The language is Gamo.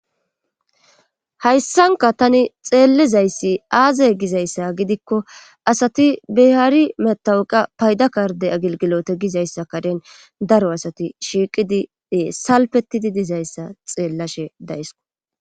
hayssanka tani xeellizayssi aaze gizayssa gidikko asati behari metawuqa payda karde agilgilote gizayssa karen daro asati shiiqidi ee salpetidi dizayssa xeellashe dayisko